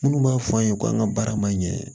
Minnu b'a fɔ an ye ko an ka baara ma ɲɛ